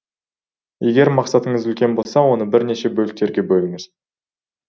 егер мақсатыңыз үлкен болса оны бірнеше бөліктерге бөліңіз